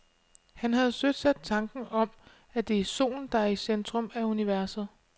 Han havde søsat tanken om, at det er solen, der er i centrum af universet.